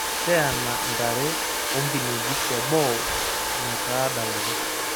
Teena ntare onkinejik teboo metadaata.